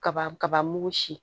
Kaba kaba mugu si